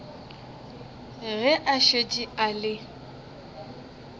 ge a šetše a le